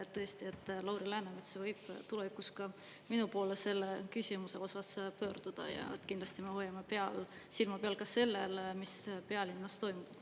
Tõesti, Lauri Läänemets võib tulevikus ka minu poole selle küsimuse osas pöörduda ja kindlasti me hoiame silma peal ka sellel, mis pealinnas toimub.